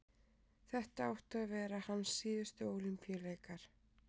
þetta áttu að vera hans síðustu ólympíuleikar